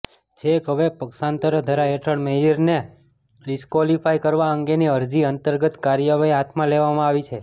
છેક હવે પક્ષાંતરધારા હેઠળ મેયરને ડિસક્વોલિફાય કરવા અંગેની અરજી અંતર્ગત કાર્યવાહી હાથમાં લેવામાં આવી છે